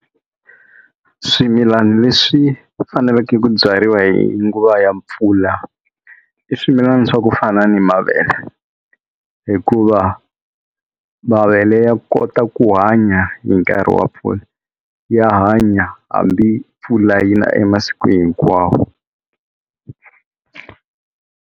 Swimilani leswi faneleke ku byariwa hi nguva ya mpfula i swimilana swa ku fana na mavele hikuva mavele ya kota ku hanya hi nkarhi wa mpfula ya hanya hambi mpfula yina emasiku hinkwawo.